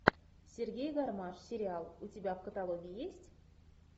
сергей гармаш сериал у тебя в каталоге есть